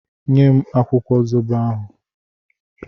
Nye m akwụkwọ zobo ahụ!